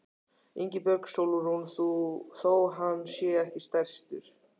Ingibjörg Sólrún: Þó hann sé ekki stærstur?